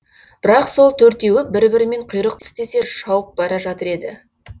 бірақ сол төртеуі бір бірімен құйрық тістесе шауып бара жатыр еді